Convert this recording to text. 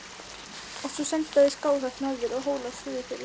Og svo senda þeir Skálholt norður og Hóla suðurfyrir!